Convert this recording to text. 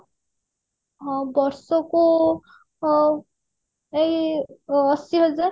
ହଁ ବର୍ଷକୁ ଉଁ ଏଇ ଅଶିହଜାର